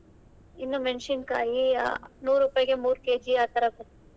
ಇನ್ನು ಮೆಣ್ಸಿನಕಾಯಿ ನೂರು ರೂಪಾಯಿಗೆ ಮೂರು KG ಆತರ ಕೊಟ್ರು.